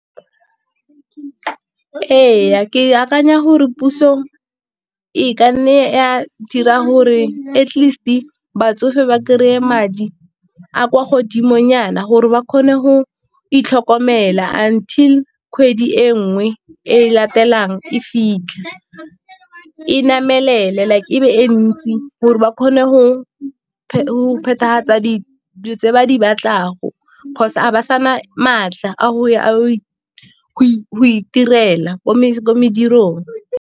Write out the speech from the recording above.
Ee, ke akanya gore puso e ka nne a dira gore at least batsofe ba kry-e madi a kwa godimo nyana gore ba kgone go itlhokomela until kgwedi e nngwe e latelang e fitlhe, e namelele like e be e ntsi gore ba kgone go dilo tse ba di kgotsa ba sana maatla a go ya a ya go itirela ko medirong.